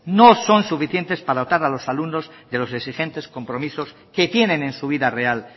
no son suficientes para adoptar a los alumnos de los exigentes compromisos que tienen en su vida real